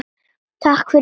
Takk afi, fyrir allt.